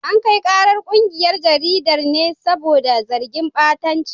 An kai karar kungiyar jaridar ne saboda zargin batanci.